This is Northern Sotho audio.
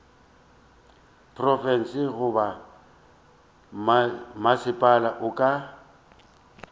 profense goba mmasepala o ka